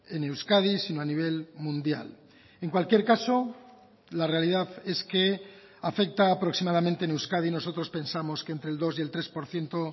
en euskadi sino a nivel mundial en cualquier caso la realidad es que afecta aproximadamente en euskadi nosotros pensamos que entre el dos y el tres por ciento